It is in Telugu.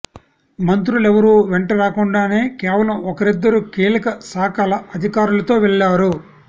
మంత్రులెవరూ వెంట రాకుండానే కేవలం ఒకరిద్దరూ కీలక శాఖల అధికారులతో వెళ్లారు